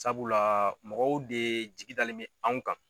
Sabula mɔgɔw de jigi dalen bɛ anw kan.